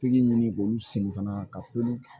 Pikiri ɲini k'olu siri fana ka pulu kɛ